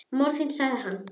Móðir þín sagði hann.